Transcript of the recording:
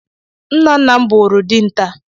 Nna nna m bụụrụ dinta.